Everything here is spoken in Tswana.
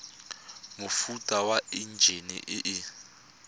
mofuta wa enjine e e